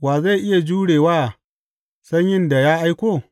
Wa zai iya jure wa sanyin da ya aiko?